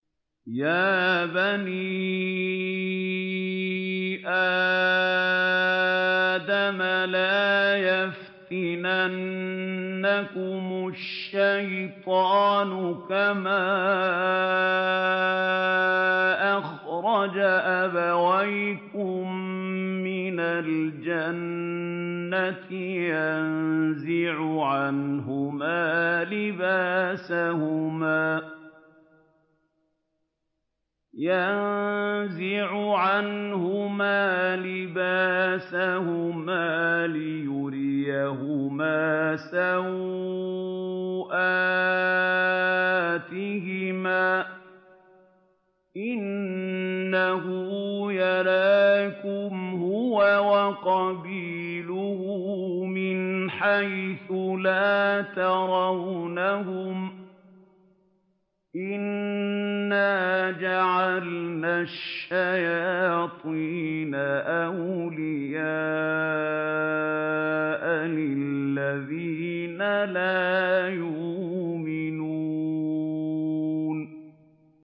يَا بَنِي آدَمَ لَا يَفْتِنَنَّكُمُ الشَّيْطَانُ كَمَا أَخْرَجَ أَبَوَيْكُم مِّنَ الْجَنَّةِ يَنزِعُ عَنْهُمَا لِبَاسَهُمَا لِيُرِيَهُمَا سَوْآتِهِمَا ۗ إِنَّهُ يَرَاكُمْ هُوَ وَقَبِيلُهُ مِنْ حَيْثُ لَا تَرَوْنَهُمْ ۗ إِنَّا جَعَلْنَا الشَّيَاطِينَ أَوْلِيَاءَ لِلَّذِينَ لَا يُؤْمِنُونَ